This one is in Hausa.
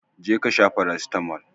je kasha farasitamol